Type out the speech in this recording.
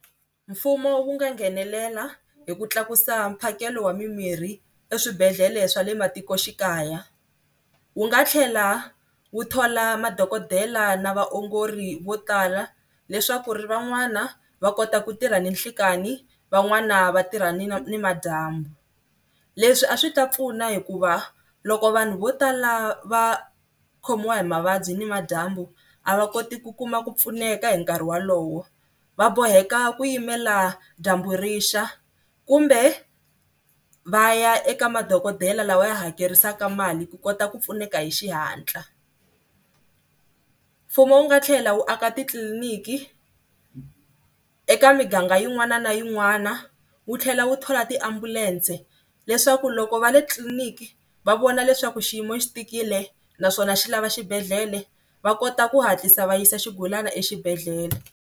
Mfumo wu nga nghenelela hi ku tlakusa mphakelo wa mimirhi eswibedhlele swa le matikoxikaya, wu nga tlhela wu thola madokodela na vaongori vo tala leswaku ku ri van'wana va kota ku tirha ninhlikani van'wana va tirha ni nimadyambu. Leswi a swi ta pfuna hikuva loko vanhu vo tala va khomiwa hi mavabyi nimadyambu a va koti ku kuma ku pfuneka hi nkarhi wolowo va boheka ku yimela dyambu rixa kumbe va ya eka madokodela lawa ya hakerisaka mali ku kota ku pfuneka hi xihatla. Mfumo wu nga tlhela wu aka titliliniki eka miganga yin'wana na yin'wana wu tlhela wu thola tiambulense leswaku loko va le tliliniki va vona leswaku xiyimo xi tikile naswona xi lava xibedhlele va kota ku hatlisa va yisa xigulana exibedhlele.